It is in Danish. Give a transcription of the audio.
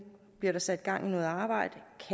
bliver sat i gang i noget arbejde